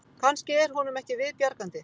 Kannski er honum ekki viðbjargandi